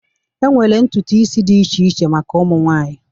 enwere ntutu isi dị iche iche maka ụmụ nwanyị